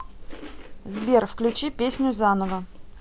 сбер включи песню заново